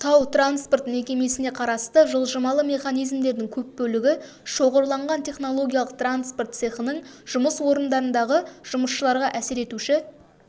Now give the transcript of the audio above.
тау-транспорт мекемесіне қарасты жылжымалы механизмдердің көп бөлігі шоғырланған технологиялық транспорт цехының жұмыс орындарындағы жұмысшыларға әсер етуші